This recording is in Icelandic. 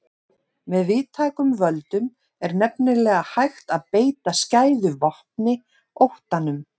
Með víðtækum völdum er nefnilega hægt að beita skæðu vopni, óttanum.